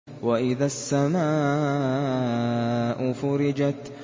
وَإِذَا السَّمَاءُ فُرِجَتْ